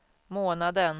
månaden